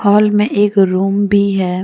Hall में एक room भी है।